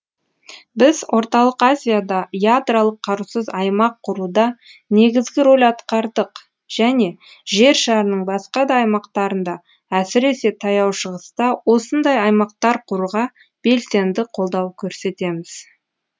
біз орталық азияда ядролық қарусыз аймақ құруда негізгі рөл атқардық және жер шарының басқа да аймақтарында әсіресе таяу шығыста осындай аймақтар құруға белсенді қолдау көрсетеміз